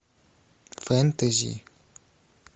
фэнтези